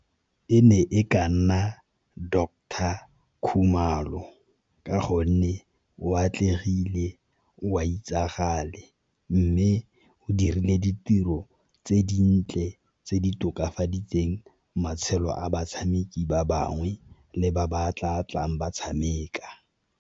E ne e ka nna Doctor Khumalo ka gonne o a atlegile, o a itsagale. Mme go dirile ditiro tse dintle tse di tokafaditseng matshelo a batshameki ba bangwe le ba ba tla tlang ba tshameka.